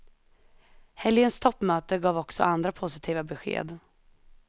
Helgens toppmöte gav också andra positiva besked.